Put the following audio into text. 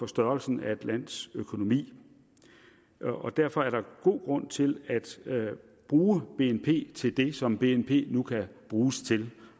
størrelsen af et lands økonomi derfor er der god grund til at bruge bnp til det som bnp nu kan bruges til